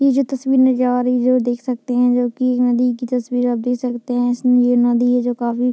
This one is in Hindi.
ये जो तस्वीर नज़र आ रही है जो देख सकते हैं जो की एक नदी की तस्वीर है | आप देख सकते हैं इसमें ये नदी है जो काफी --